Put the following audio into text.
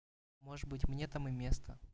может быть мне там и место